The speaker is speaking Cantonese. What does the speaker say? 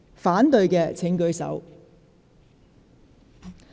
反對的請舉手。